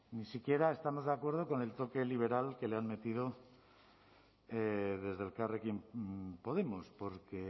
ni siquiera estamos de acuerdo con el toque liberal que le han metido desde elkarrekin podemos porque